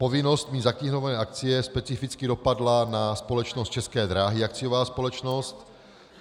Povinnost mít zaknihované akcie specificky dopadla na společnost České dráhy, akciová společnost.